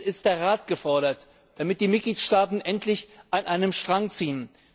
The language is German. Jetzt ist der Rat gefordert, damit die Mitgliedstaaten endlich an einem Strang ziehen.